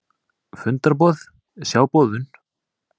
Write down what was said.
Fundarboð, sjá boðun